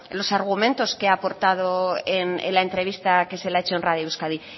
los argumentos que ha aportado en la entrevista que se le ha hecho en radio euskadi